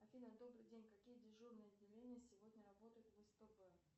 афина добрый день какие дежурные отделения сегодня работают в спб